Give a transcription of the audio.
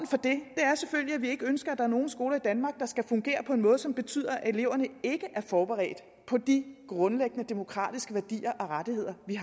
for det er selvfølgelig at vi ikke ønsker at der er nogen skoler i danmark der skal fungere på en måde som betyder at eleverne ikke er forberedte på de grundlæggende demokratiske værdier og rettigheder vi